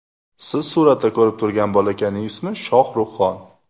Siz suratda ko‘rib turgan bolakayning ismi Shohruxxon.